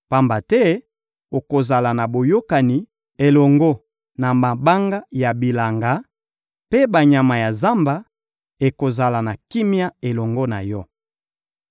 pamba te okozala na boyokani elongo na mabanga ya bilanga, mpe banyama ya zamba ekozala na kimia elongo na yo.